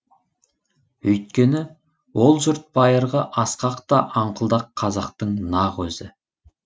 өйткені ол жұрт байырғы асқақ та аңқылдақ қазақтың нақ өзі